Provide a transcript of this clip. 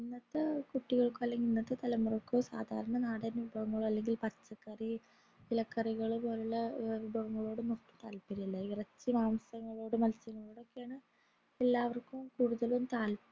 ഇന്നത്തെ കുട്ടികൾക് അല്ലെങ്കിൽ ഇന്നത്തെ തലമുറക്കോ സദാരാ നടൻ വിഭവങ്ങളോ അല്ലെങ്കിൽന് പച്ചക്കറി ഇലക്കറികൾ പോലുള്ള വിഭവങ്ങളോട് ഒട്ടും താത്പര്യമില്ല ഈ ഇറച്ചി മാംസങ്ങളോടും മത്സ്യങ്ങളോടൊക്കെയാണ് എല്ലാവര്ക്കും കൂടുതലും താത്പര്യം